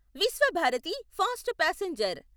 Visvabharati fast passenger